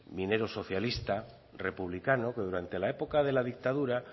minero socialista republicano que durante la época de la dictadura